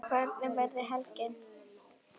Hvernig verður helgin?